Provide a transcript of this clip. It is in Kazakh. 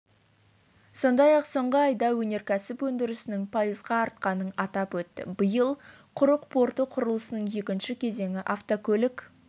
сондай-ақ соңғы айда өнеркәсіп өндірісінің пайызға артқанын атап өтті биыл құрық порты құрылысының екінші кезеңі автокөлік